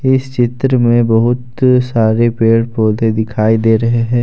इस चित्र में बहुत सारे पेड़ पौधे दिखाई दे रहे हैं।